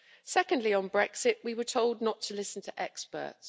Secondly, on Brexit, we were told not to listen to experts.